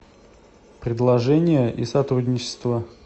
предложения и сотрудничество